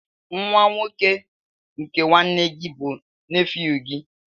Nwa nwoke nke nwanne gị bụ nefew gị.